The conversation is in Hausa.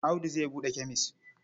Audu zai buɗe kemes.